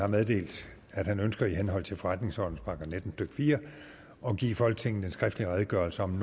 meddelt at han ønsker i henhold til forretningsordenens § nitten stykke fire at give folketinget en skriftlig redegørelse om